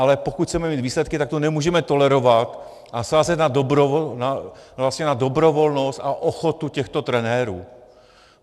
Ale pokud chceme mít výsledky, tak to nemůžeme tolerovat a sázet na dobrovolnost a ochotu těchto trenérů.